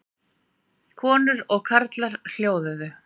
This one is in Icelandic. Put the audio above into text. Konur og karlar hljóðuðu.